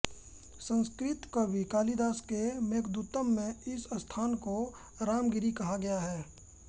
संस्कृत कवि कालिदास के मेघदूतम में इस स्थान को रामगिरी कहा गया है